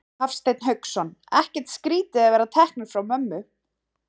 Hafsteinn Hauksson: Ekkert skrítið að vera teknir frá mömmu?